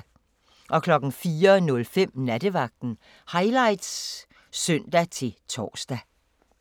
04:05: Nattevagten Highlights (søn-tor)